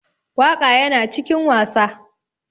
Waka Yana cikin wasa.